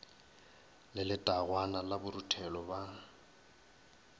le letangwana la boruthelo ba